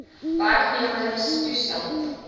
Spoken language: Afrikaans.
werknemer se toestand